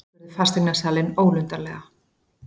spurði fasteignasalinn ólundarlega.